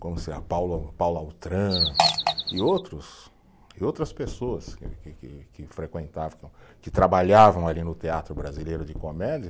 Como se e outros, e outras pessoas que que que, que frequentavam, que trabalhavam ali no Teatro Brasileiro de Comédia.